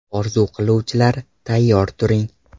Orzu qiluvchilar, tayyor turing!